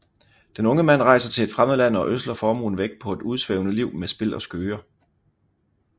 Den unge mand rejser til et fremmed land og ødsler formuen væk på et udsvævende liv med spil og skøger